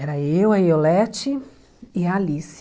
Era eu, a Iolete e a Alice.